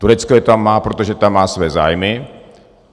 Turecko je tam má, protože tam má své zájmy.